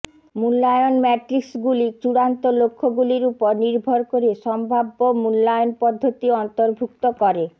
মূল্যায়ন ম্যাট্রিক্সগুলি চূড়ান্ত লক্ষ্যগুলির উপর নির্ভর করে সম্ভাব্য মূল্যায়ন পদ্ধতি অন্তর্ভুক্ত করে